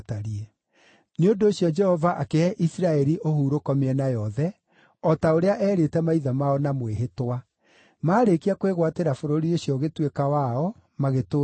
Nĩ ũndũ ũcio Jehova akĩhe Isiraeli ũhurũko mĩena yothe, o ta ũrĩa eerĩte maithe mao na mwĩhĩtwa. Maarĩkia kwĩgwatĩra bũrũri ũcio ũgĩtuĩka wao, magĩtũũra kuo.